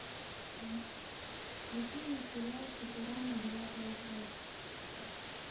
включи мне сериал футурама девятая часть